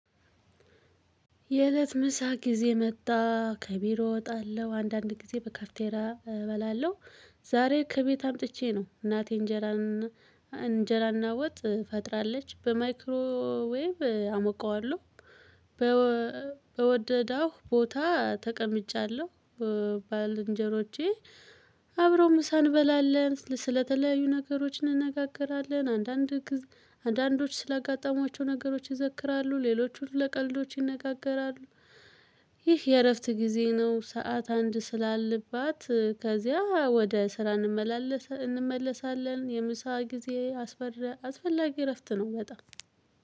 የእለት ምሳ ጊዜ መጣ ከቢሮ እወጣለሁ አንዳንድ ጊዜ በካፍቴራ እበላለሁ። ዛሬ ከቤት አምጥቼ ነው እናቴ እንጀራ እንጀራና ወጥ ፈጥራለች በማይክሮዌቭ አሞቃዋለሁ። በወደዳሁ ቦታ ተቀምጫለሁ። ባለእንጀሮቼ አብረው ምሳ እንበላለን ስለተለያዩ ነገሮች እንነጋገራለን። አንዳንዶች ስላጋጠሟቸው ነገሮች ይዘክራሉ ሌሎቹን ለቀልዶች ይነጋገራሉ። ይህ የእረፍት ጊዜ ነው። ሰዓት አንድ ስላለባት ከዚያ ወደ ስራ እንመለሳለን። የምሳ ጊዜ አስፈላጊ እረፍት ነው በጣም